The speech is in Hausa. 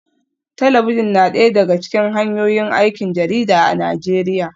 Talabijin na daya daga cikin hanyoyin aikin jarida a Najeriya